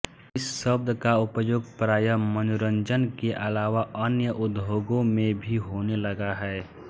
इस शब्द का उपयोग प्रायः मनोरंजन के अलावा अन्य उद्योगों में भी होने लगा है